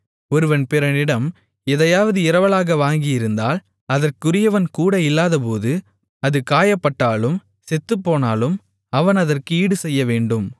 ஒருவன் பிறனிடம் எதையாவது இரவலாக வாங்கியிருந்தால் அதற்குரியவன் கூட இல்லாதபோது அது காயப்பட்டாலும் செத்துப்போனாலும் அவன் அதற்கு ஈடுசெய்யவேண்டும்